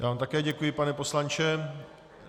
Já vám také děkuji, pane poslanče.